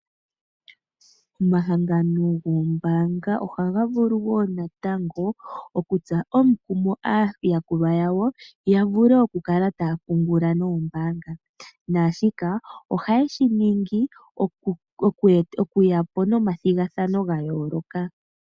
Omahangano goombanga ohaga vulu wo natango okutsa omukumo aayakulwa yawo ya vule okukala taya pungula nombaanga, naashika ohaye shi ningi okuya po nomathigathano ga yooloka.